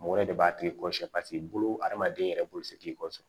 Mɔgɔ wɛrɛ de b'a tigi kɔrɔsi bolo hadamaden yɛrɛ bolo se k'i kɔsɔn